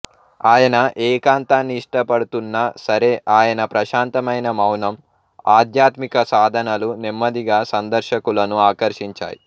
ఆయన ఏకాంతాన్ని ఇష్టపడుతున్నా సరే ఆయన ప్రశాంతమైన మౌనం ఆధ్యాత్మిక సాధనలు నెమ్మదిగా సందర్శకులను ఆకర్షించాయి